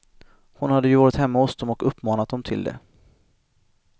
Hon hade ju varit hemma hos dem och uppmanat dem till det.